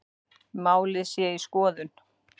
Málið sé í skoðun